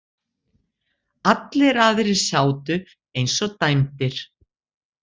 Allir aðrir sátu eins og dæmdir.